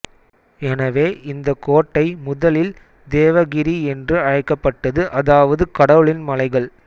எனவே இந்த கோட்டை முதலில் தேவகிரி என்று அழைக்கப்பட்டது அதாவது கடவுளின் மலைகள்